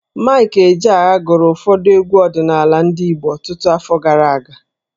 Maịk Ejeagha gụrụ ụfọdụ egwu ọdịnaala ndị Igbo ọtụtụ afọ gara aga.